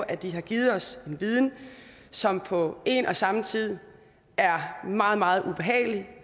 at de har givet os en viden som på en og samme tid er meget meget ubehagelig